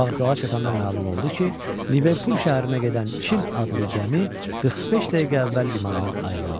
Vağzala çatanda məlum oldu ki, Liverpool şəhərinə gedən Çin adlı gəmi 45 dəqiqə əvvəl limandan ayrılıb.